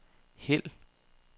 hæld